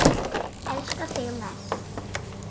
Elska þig mest.